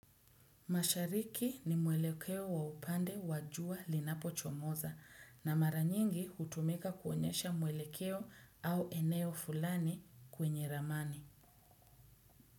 Mashariki ni mwelekeo wa upande wa jua linapochomoza na mara nyingi hutumika kuonyesha mwelekeo au eneo fulani kwenye ramani.